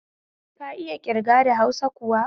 Ka iya ƙirga da hausa kuwa